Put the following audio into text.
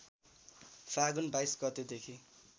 फाल्गुन २२ गतेदेखि